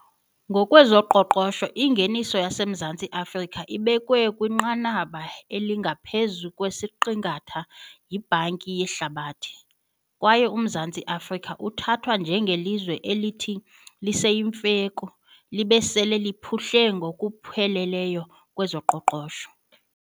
Ngokwezoqoqosho ingeniso yaseMzantsi Afrika ibekwe kwinqanaba elingaphezu kwesiqingatha yiBhanki yeHlabathi, kwaye uMzantsi Afrika uthathwa nje ngelizwe elithi liseyimveku libe sele liphuhle ngokupheleleyo kwezoqoqosho.